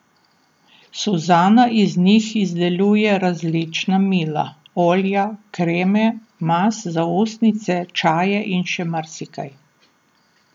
Suzana iz njih izdeluje različna mila, olja, kreme, mast za ustnice, čaje in še marsikaj.